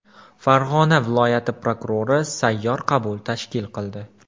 Farg‘ona viloyat prokurori sayyor qabul tashkil qildi.